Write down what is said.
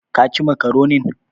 Ka ci makaronin?